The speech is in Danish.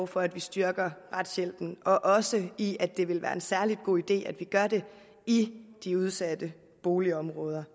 for at vi styrker retshjælpen og også i at det vil være en særlig god idé at vi gør det i de udsatte boligområder